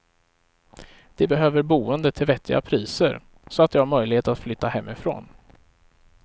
De behöver boende till vettiga priser, så att de har möjlighet att flytta hemifrån.